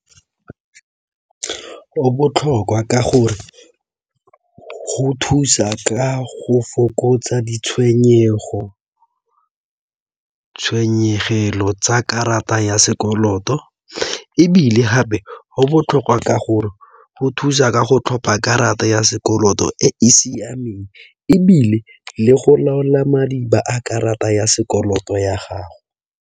Go botlhokwa ka gore go thusa ka go fokotsa ditshenyegelo tsa karata ya sekoloto. Ebile gape go botlhokwa ka gore go thusa ka go tlhopa karata ya sekoloto e e siameng, ebile le go laola madiba a karata ya sekoloto ya gago.